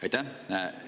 Aitäh!